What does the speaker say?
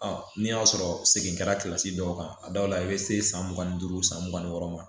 n'i y'a sɔrɔ segin kɛra dɔw kan a dɔw la i bɛ se san mugan ni duuru san mugan ni wɔɔrɔ ma